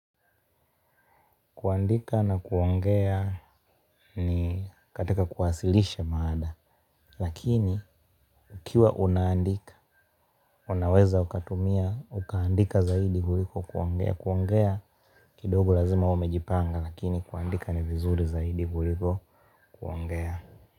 Kuandika na kuongea ni katika kuwasilisha maada. Lakini ukiwa unaandika, unaweza ukatumia, ukaandika zaidi kuliko kuongea. Kuongea kidogo lazima umejipanga, lakini kuandika ni vizuri zaidi kuliko kuangea.